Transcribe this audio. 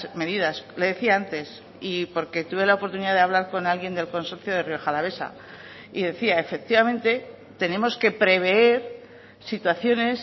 medidas le decía antes y porque tuve la oportunidad de hablar con alguien del consorcio de rioja alavesa y decía efectivamente tenemos que prever situaciones